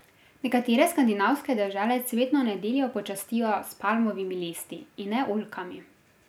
Nekatere skandinavske dežele cvetno nedeljo počastijo s palmovimi listi, in ne oljkami.